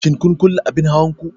Shin kun kulle abin hawan ku?